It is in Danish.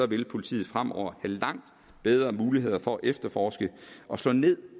vil politiet fremover have langt bedre muligheder for at efterforske og slå ned